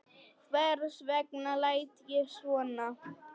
Hvers vegna læt ég svona?